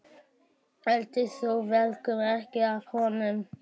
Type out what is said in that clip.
Eltist sú veiklun ekki af honum.